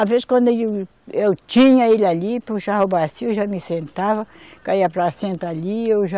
Às vezes, quando eu, eu tinha ele ali, puxava a bacia, já me sentava, caía a placenta ali, eu já...